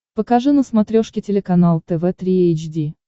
покажи на смотрешке телеканал тв три эйч ди